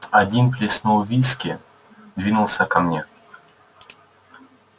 один плеснул виски двинулся ко мне